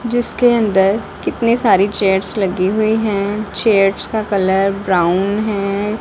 जिसके अंदर कितने सारी चेयर्स लगी हुई हैं चेयर्स का कलर ब्राउन हैं।